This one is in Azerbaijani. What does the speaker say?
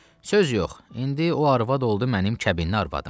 Söz yox, indi o arvad oldu mənim kəbinli arvadım.